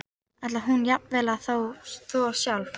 Ætlaði hún jafnvel að þvo sjálf?